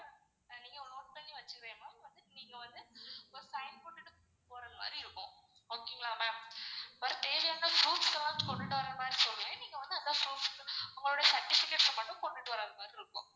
நீங்க note பண்ணி வச்சிறனும் நீங்க வந்து ஒரு sign போட்டுட்டு போறமாரி இருக்கும். okay ங்களா ma'am? per day ல இருந்து proof ஸ்லாம் வச்சி கொண்டுட்டு வரமாரி சொல்லுவன் நீங்க வந்து அந்த proofs வந்து உங்களுடைய certificates மட்டும் கொண்டுட்டு வர மாறி இருக்கும்.